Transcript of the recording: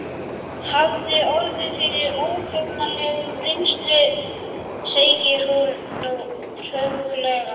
Hafði orðið fyrir óhugnanlegri reynslu, segir hún nú treglega.